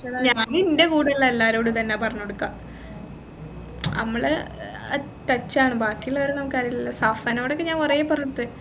ഞാൻ ഇന്റെ കൂടെയുള്ള എല്ലാരോടും ഇതെന്നെയാ പറഞ്ഞുകൊടുക്കുഅ അമ്മൾ ഏർ touch ആണ് ബാക്കിയുള്ളവരെ നമ്മക്കറിയില്ലല്ലോ സഫനോടൊക്കെ ഞാൻ കുറെ പറഞ്ടുത്തു